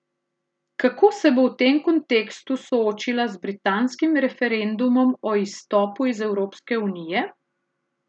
Kako se bo v tem kontekstu soočila z britanskim referendumom o izstopu iz Evropske unije?